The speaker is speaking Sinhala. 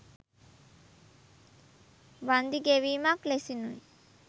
වන්දි ගෙවීමක් ලෙසිනුයි